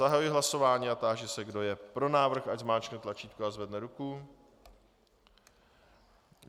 Zahajuji hlasování a táži se, kdo je pro návrh, ať zmáčkne tlačítko a zvedne ruku.